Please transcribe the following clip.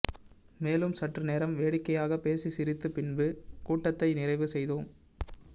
மேலும் சற்றுநேரம் வேடிக்கையாக பேசி சிரித்து பின்பு கூட்டத்தை நிறைவு செய்தோம்